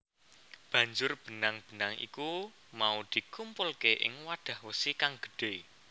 Banjur benang benang iku mau dikumpulke ing wadah wesi kang gedhe